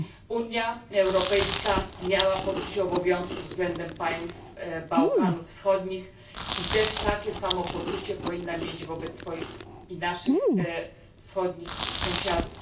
Unia Europejska miała poczucie obowiązku względem państw Bałkanów Wschodnich i też takie samo poczucie powinna mieć wobec swoich i naszych wschodnich sąsiadów.